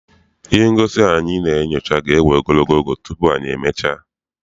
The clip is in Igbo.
Ihe ngosi ahụ anyị na-enyocha ga ewe ogologo oge tupu anyị e mechaa.